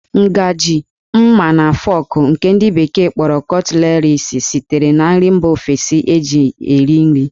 Ngajị, ḿmá, na fọk nke ndi bekee kpọrọ 'cutleries' sitere na nri mba ofesi eji eri nri.